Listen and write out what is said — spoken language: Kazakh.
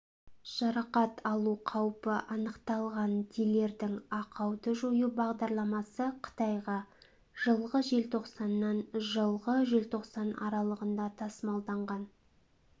жарақат алу қаупі анықталған дилердің ақауды жою бағдарламасы қытайға жылғы желтоқсаннан жылғы желтоқсан аралығында тасымалданған